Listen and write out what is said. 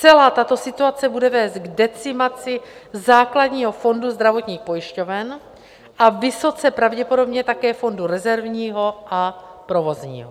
Celá tato situace bude vést k decimaci základního fondu zdravotních pojišťoven a vysoce pravděpodobně také fondu rezervního a provozního.